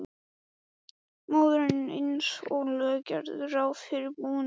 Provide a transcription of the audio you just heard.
Móðirin eins og lög gerðu ráð fyrir búin að vera.